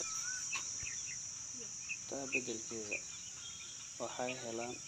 Taa beddelkeeda, waxay helaan daryeel taageero ah si ay u daaweeyaan astaamahooda.